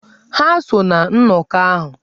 Ha so ná nnọkọ ahụ.